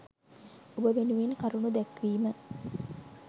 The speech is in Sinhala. ඔබ වෙනුවෙන් කරුණු දැක්වීම